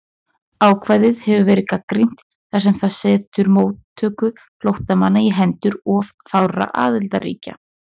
Ákvæðið hefur verið gagnrýnt þar sem það setur móttöku flóttamanna á hendur of fárra aðildarríkja.